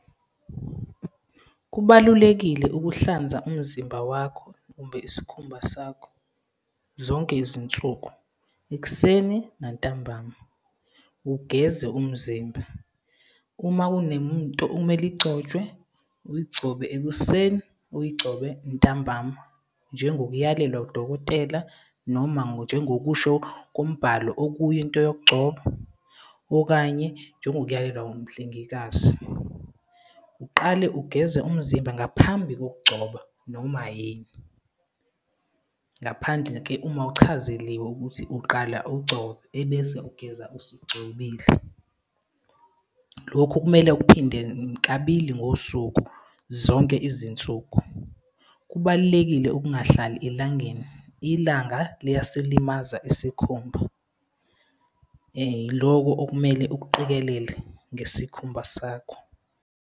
Kubalulekile ukuhlanza umzimba wakho, umbe isikhumba sakho zonke izinsuku, ekuseni nantambama, ugeze umzimba. Uma okumele igcotshwe, uyigcobe ekuseni uyigcobe ntambama. Njengokuyalelwa udokotela, noma njengokusho kombhalo okuyinto yokugcoba, okanye njengokuyalelwa umhlengikazi. Uqale ugeze umzimba ngaphambi kokugcoba noma yini. Ngaphandle-ke uma uchazeliwe ukuthi uqala ugcobe, ebese ugeza usugcobile. Lokhu kumele ukuphinde kabili ngosuku, zonke izinsuku. Kubalulekile ukungahlali elangeni, ilanga liyasilimaza isikhumba. Yiloko okumele ukuqikelele ngesikhumba sakho.